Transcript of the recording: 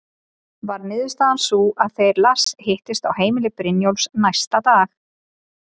Varð niðurstaðan sú að þeir Lars hittust á heimili Brynjólfs næsta dag.